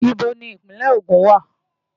Íbo ni Ìpínlẹ̀ Ogun wà?